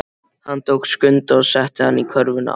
Hann tók Skunda og setti hann í körfuna.